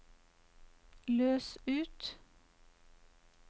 løs ut